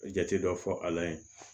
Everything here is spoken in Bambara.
Jate dɔ fɔ a la yen